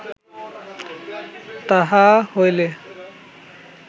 তাহা হইলে